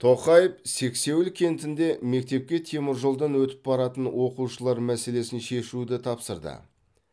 тоқаев сексеуіл кентінде мектепке теміржолдан өтіп баратын оқушылар мәселесін шешуді тапсырды